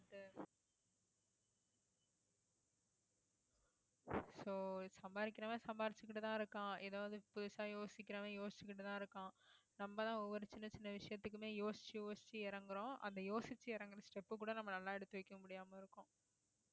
so சம்பாதிக்கிறவன் சம்பாதிச்சுக்கிட்டுதான் இருக்கான் ஏதாவது புதுசா யோசிக்கிறவன் யோசிச்சுக்கிட்டுதான் இருக்கான் நம்மதான் ஒவ்வொரு சின்ன சின்ன விஷயத்துக்குமே யோசிச்சு யோசிச்சு இறங்குறோம் அந்த யோசிச்சு இறங்கின step அ கூட நம்ம நல்லா எடுத்து வைக்க முடியாம இருக்கோம்